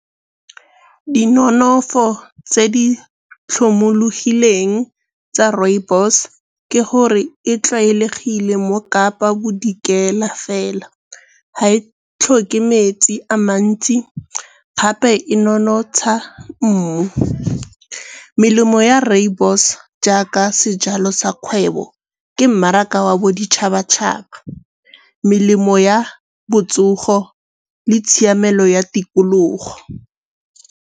Di nonofo tse di tlhomologileng tsa rooibos ke gore e tlwaelegile mo Kapa Bodikela fela, ga e tlhoke metsi a mantsi gape e nonotsha mmu. Melemo ya rooibos jaaka sejalo sa kgwebo ke mmaraka wa boditšhabatšhaba, melemo ya botsogo le tshiamelo ya tikologo.